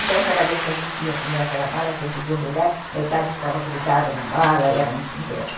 Então, cada vez que a gente ia comer aquela bala, tinha que desembrulhar, metade ficava grudada na bala, era um um drama.